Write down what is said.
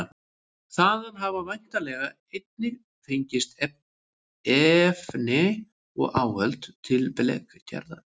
Þaðan hafa væntanlega einnig fengist efni og áhöld til blekgerðar.